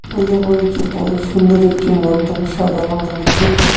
বড় সুন্দর একটি মণ্ডপ সাজানো রয়েছে।